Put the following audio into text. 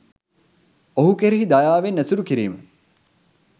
ඔහු කෙරෙහි දයාවෙන් ඇසුරු කිරීම